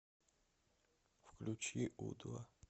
включи у два